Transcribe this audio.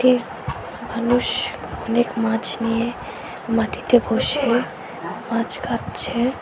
এক মানুষ অনেক মাছ নিয়ে মাটিতে বসে মাছ কাটছে।